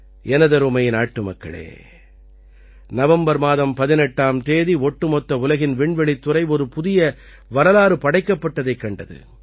எனதருமை நாட்டுமக்களே நவம்பர் மாதம் 18ஆம் தேதி ஒட்டுமொத்த உலகின் விண்வெளித்துறை ஒரு புதிய வரலாறு படைக்கப்பட்டதைக் கண்டது